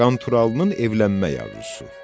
Qanturalının evlənmək arzusu.